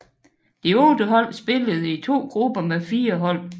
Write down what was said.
De otte hold spillede i to grupper med fire hold